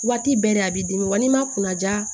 Waati bɛɛ de a b'i dimi wa n'i ma kunnaja